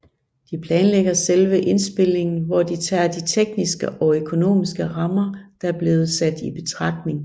De planlægger selve indspilningen hvor tager de tekniske og økonomiske rammer der er blevet sat i betragtning